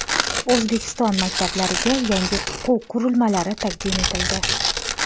O‘zbekiston maktablariga yangi o‘quv qurilmalari taqdim etildi.